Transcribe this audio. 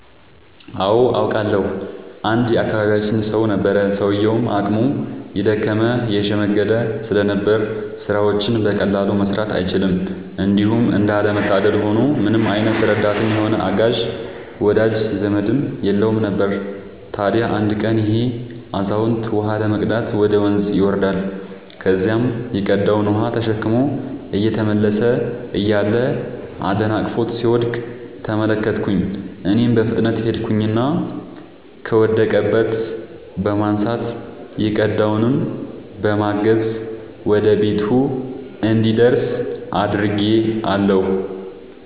አዎ አውቃለሁ። አንድ የአካባቢያችን ሰው ነበረ፤ ሰውዬውም አቅሙ የደከመ የሽምገለ ስለነበር ስራዎችን በቀላሉ መስራት አይችልም። እንዲሁም እንዳለ መታደል ሆኖ ምንም አይነት ረዳትም ሆነ አጋዥ ወዳጅ ዘመድም የለውም ነበር። ታዲያ አንድ ቀን ይሄ አዛውንት ውሃ ለመቅዳት ወደ ወንዝ ይወርዳል። ከዚያም የቀዳውን ውሃ ተሸክሞ እየተመለሰ እያለ አደናቅፎት ሲወድቅ ተመለከትኩኝ እኔም በፍጥነት ሄድኩኝና ከወደቀበት በማንሳት የቀዳውንም በማገዝ ወደ ቤቱ እንዲደርስ አድርጌአለሁ።